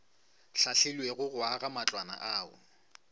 hlahlilwego go aga matlwana ao